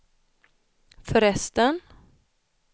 förresten